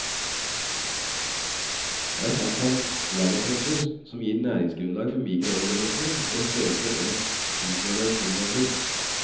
Der fant han lavaklumper som gir næringsgrunnlag for mikroorganismer i størrelsen én tusendedels millimeter.